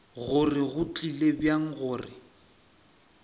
gore go tlile bjang gore